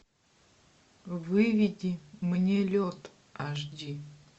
выведи мне лед аш ди